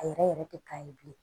A yɛrɛ yɛrɛ te k'a ye bilen